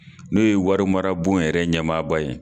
N'o ye wari mara bon yɛrɛ ɲɛmaaba ye